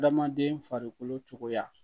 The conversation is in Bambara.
Adamaden farikolo cogoya